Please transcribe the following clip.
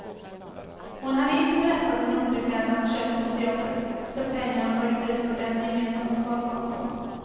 Hon hade inte berättat om underkläderna hon köpt efter jobbet, för pengar hon tagit ut från deras gemensamma sparkonto.